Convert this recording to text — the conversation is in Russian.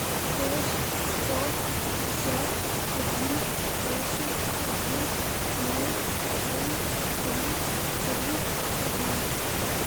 шесть сто пятьдесят один восемь один ноль семь три три один